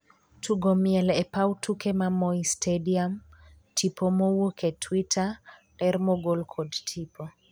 tugo miel e pau tuke ma Moi Stadiam, tipo mowuok e twitter ,ler mogol kod tipo